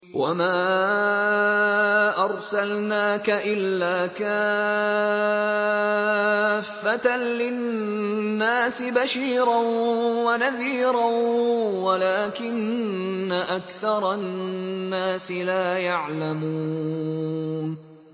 وَمَا أَرْسَلْنَاكَ إِلَّا كَافَّةً لِّلنَّاسِ بَشِيرًا وَنَذِيرًا وَلَٰكِنَّ أَكْثَرَ النَّاسِ لَا يَعْلَمُونَ